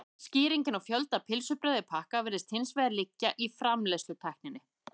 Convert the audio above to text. Skýringin á fjölda pylsubrauða í pakka virðist hins vegar liggja í framleiðslutækninni.